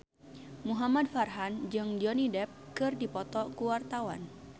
Muhamad Farhan jeung Johnny Depp keur dipoto ku wartawan